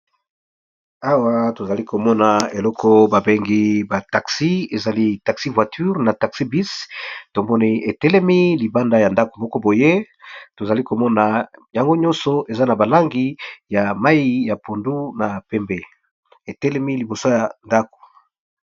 Awa tozali komona eloko babengi ba taxi ezali taxi-voiture na taxi bus tomoni etelemi libanda ya ndako moko boye tozali komona yango nyonso eza na ba langi ya mayi ya pondu na pembe etelemi liboso ya ndako.